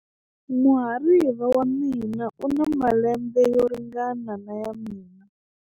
Muhariva wa mina u na malembe yo ringana na ya mina.